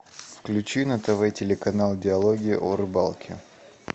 включи на тв телеканал диалоги о рыбалке